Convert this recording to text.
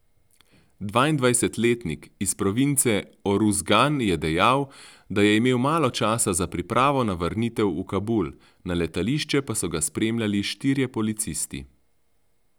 Dvaindvajsetletnik iz province Oruzgan je dejal, da je imel malo časa za pripravo na vrnitev v Kabul, na letališče pa so ga spremljali štirje policisti.